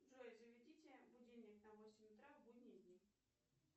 джой заведите будильник на восемь утра в будние дни